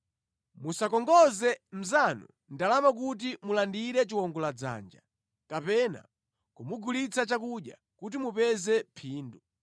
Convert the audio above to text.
Musakongoze mnzanu ndalama kuti mulandire chiwongoladzanja, kapena kumugulitsa chakudya kuti mupeze phindu.